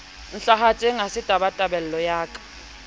ntlhahetseng ha se tabatabelo ya